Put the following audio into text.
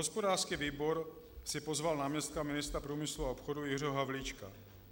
Hospodářský výbor si pozval náměstka ministra průmyslu a obchodu Jiřího Havlíčka.